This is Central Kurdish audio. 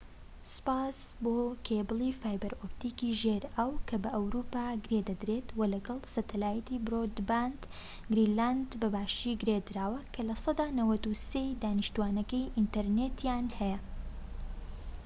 سوپاس بۆ کێبڵی فایبەر ئۆتپیکی ژێر ئاو کە بە ئەوروپا گرێدەدرێت و لەگەڵ سەتەلایتی برۆدباند، گرینلاند بە باشی گرێدراوە کە 93%ی دانیشتوانەکەی ئینتەرنێتیان هەیە